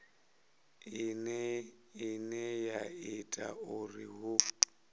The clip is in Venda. ine ya ita uri hu